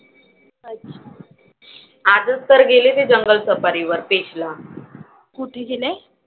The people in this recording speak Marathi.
अच्छा.